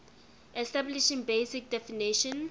establishing basic definition